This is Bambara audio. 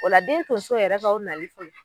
O la den tonso yɛrɛ ka o nali